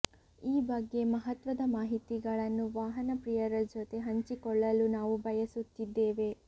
ಈ ಬಗ್ಗೆ ಮಹತ್ವದ ಮಾಹಿತಿಗಳನ್ನು ವಾಹನ ಪ್ರಿಯರ ಜೊತೆ ಹಂಚಿಕೊಳ್ಳಲು ನಾವು ಬಯಸುತ್ತಿದ್ದೇವೆ